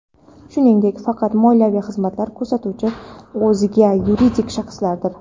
shuningdek faqat moliyaviy xizmatlar ko‘rsatuvchi o‘zga yuridik shaxslardir.